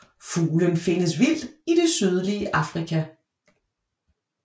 Fuglen findes vildt i det sydlige Afrika